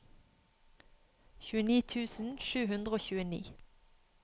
tjueni tusen sju hundre og tjueni